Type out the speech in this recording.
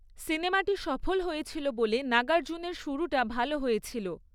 সিনেমাটি সফল হয়েছিল বলে নাগার্জুনের শুরুটা ভাল হয়েছিল।